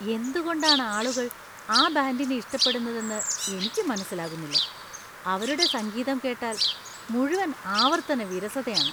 എന്തുകൊണ്ടാണ് ആളുകൾ ആ ബാൻഡിനെ ഇഷ്ടപ്പെടുന്നതെന്ന് എനിക്ക് മനസ്സിലാകുന്നില്ല. അവരുടെ സംഗീതം കേട്ടാൽ മുഴുവൻ ആവർത്തന വിരസതയാണ്.